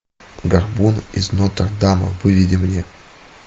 горбун из нотр дама выведи мне